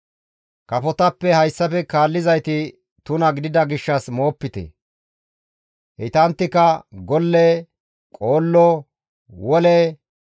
« ‹Kafotappe hayssafe kaallizayti tuna gidida gishshas moopite. Heytanttika golle, qoollo, wole